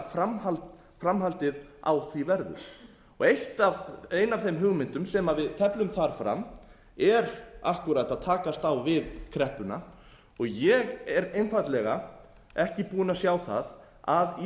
framhaldið á því verður ein af þeim hugmyndum sem við teflum þar fram er akkúrat að takast á við kreppuna og ég er einfaldlega ekki búinn að sjá að íslenskt